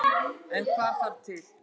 En hvað þarf til.